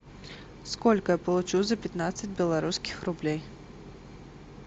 сколько я получу за пятнадцать белорусских рублей